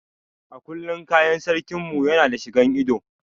A kullum kayan sarkin mu Yana da shigan ido.